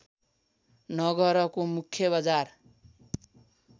नगरको मुख्य बजार